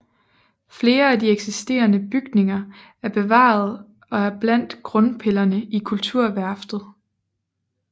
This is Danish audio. Flere af de eksisterende bygninger er bevaret og er blandt grundpillerne i Kulturværftet